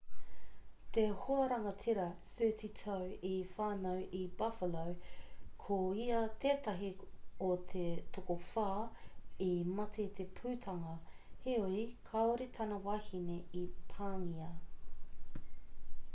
te hoarangatira 30 tau i whānau i buffalo ko ia tētahi o te tokowhā i mate i te pūtanga heoi kāore tana wahine i pāngia